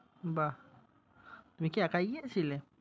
বাহ! তুমি কি একাই গিয়েছিলে?